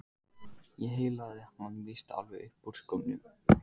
Ég heillaði hann víst alveg upp úr skónum!